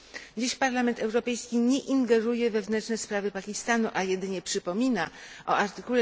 Dziś Parlament Europejski nie ingeruje w wewnętrzne sprawy Pakistanu, a jedynie przypomina o art.